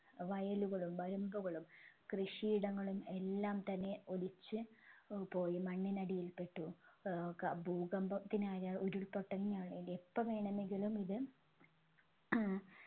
വയലുകളും വരമ്പുകളും കൃഷിയിടങ്ങളും എല്ലാം തന്നെ ഒലിച്ചു ഏർ പോയി മണ്ണിനടിയിൽപെട്ടു ഏർ ക ഭൂകമ്പത്തിനായാൽ ഉരുൾ പൊട്ടലിനാണേങ്കി എപ്പോ വേണമെങ്കിലും ഇത് ഏർ